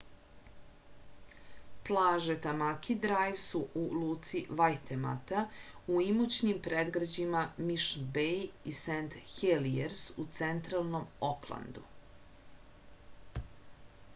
plaže tamaki drajv su u luci vajtemata u imućnim predgrađima mišn bej i sent helijers u centralnom oklandu